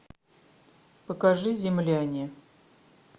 покажи земляне